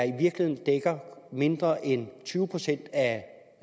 i virkeligheden mindre end tyve procent af